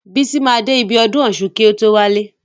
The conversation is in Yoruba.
Bísọ́la máa dé ibi ọdún ọ̀ṣun ná kí o tó wálé.